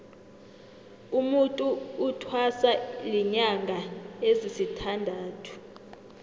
umutu uthwasa linyanga ezisithandathu